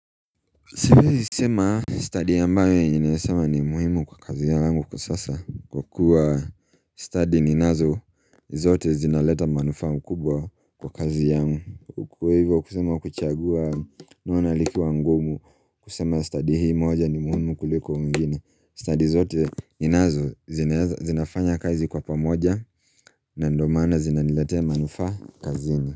Siwezi sema stadi ambayo nimesema ni muhimu kwa kazi yangu kwa sasa kwa kuwa stadi ninazo zote zinaleta manufaa mkubwa kwa kazi yangu Kwa hivyo kusema kuchagua naona likiwa ngumu kusema stadi hii moja ni muhimu kuliko mwingine Stadi zote ninazo zinafanya kazi kwa pamoja na ndo mana zinaniletea manufaa kazini.